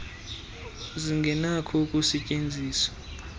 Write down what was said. mpendulo zingenakho ukusetyenzwa